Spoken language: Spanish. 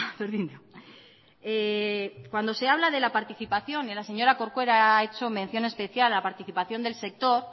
berdin du cuando se habla de la participación y la señora corcuera ha hecho mención especial a la participación del sector